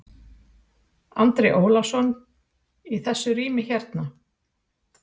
Andri Ólafsson: Í þessu rými hérna?